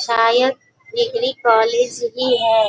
शायद degree college ही है|